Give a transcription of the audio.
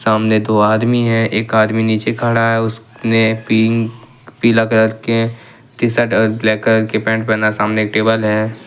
सामने दो आदमी है एक आदमी नीचे खड़ा है उसने पिंक पीला कलर के टी शर्ट और ब्लैक कलर के पेंट पहना है सामने एक टेबल है।